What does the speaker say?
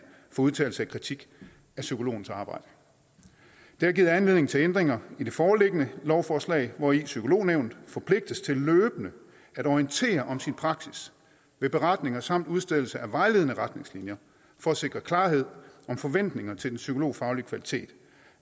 for udtalelse af kritik af psykologens arbejde det har givet anledning til ændringer i det foreliggende lovforslag hvori psykolognævnet forpligtes til løbende at orientere om sin praksis ved beretninger samt udstedelse af vejledende retningslinjer for at sikre klarhed om forventninger til den psykologfaglige kvalitet